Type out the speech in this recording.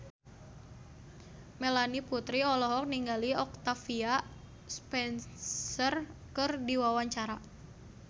Melanie Putri olohok ningali Octavia Spencer keur diwawancara